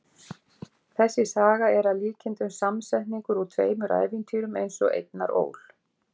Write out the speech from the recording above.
þessi saga er að líkindum samsetningur úr tveimur ævintýrum eins og einar ól